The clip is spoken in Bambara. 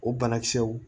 O banakisɛw